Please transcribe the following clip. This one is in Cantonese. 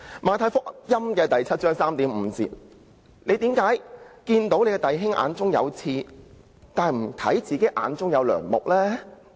《馬太福音》第七章第三至五節說道："為甚麼看見你弟兄眼中有刺，卻不想自己眼中有樑木呢？